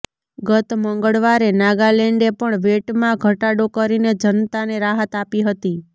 ગત મંગળવારે નાગાલેન્ડે પણ વેટમાં ઘટાડો કરીને જનતાને રાહત આપી હતી